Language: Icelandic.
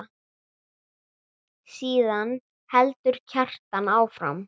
Síðan heldur Kjartan áfram